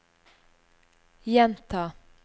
gjenta